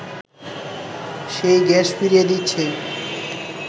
সেই গ্যাস ফিরিয়ে দিচ্ছে